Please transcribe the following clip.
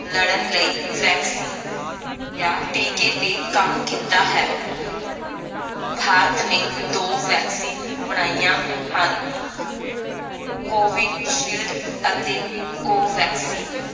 ਲੜਨ ਲਈ vaccine ਯਾ ਟੀਕੇ ਤੇ ਕੰਮ ਕੀਤਾ ਹੈ ਭਾਰਤ ਨੇ ਦੋ vaccine ਬਣਾਈਆਂ ਹਨ covid shield ਅਤੇ covaxin